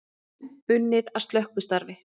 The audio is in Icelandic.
Enn unnið að slökkvistarfi